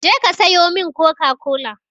Je ka sayo min coca-cola!